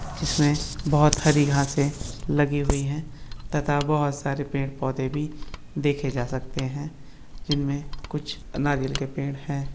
इसमे बहुत हरी घासे लगी हुई है। तथा बहुत पेड़ पौधे भी देखे जा सकते है। जिनमे कुछ नारियल के पेड़ है।